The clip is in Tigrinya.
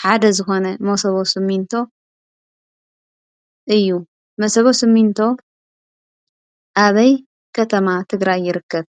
ሓደ ዝኾነ መሰቦ ሲሚንቶ እዩ። መሰቦ ሲሚንቶ ኣበይ ከተማ ትግራይ ይርከብ?